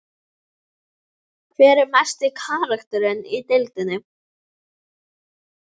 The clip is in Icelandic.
Hver er mesti karakterinn í deildinni?